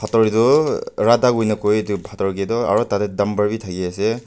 pathor tu radha koi na koi etu pathar ke tu aru tate dumper be thaki ase.